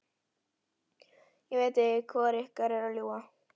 Ég veit ekki hvor ykkar er að ljúga.